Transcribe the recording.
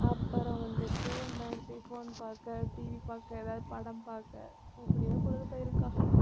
அப்புறம் வந்துட்டு நான் எப்படி phone பார்க்க TV பார்க்க ஏதாவது படம் பார்க்க இப்படியே பொழுது போயிரும்க்கா.